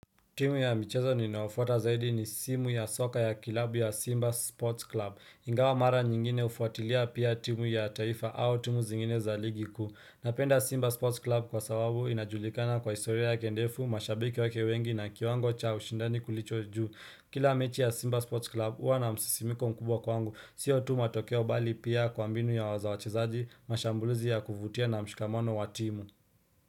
Timu ya michezo ninayofuata zaidi ni simu ya soka ya klabu ya Simba Sports Club. Ingawa mara nyingine hufuatilia pia timu ya taifa au timu zingine za ligi kuu. Napenda Simba Sports Club kwa sababu inajulikana kwa historia yake ndefu, mashabiki wake wengi na kiwango cha ushindani kilicho juu. Kila mechi ya Simba Sports Club huwa na msisimko mkubwa kwangu. Sio tu matokeo bali pia kwa mbinu za wachezaji, mashambulizi ya kuvutia na mshikamano wa timu.